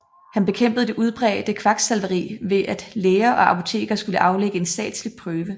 Han bekæmpede det udbredte kvaksalveri ved at læger og apotekere skulle aflægge en statslig prøve